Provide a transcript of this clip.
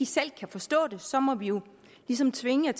selv kan forstå det så må man jo ligesom tvinge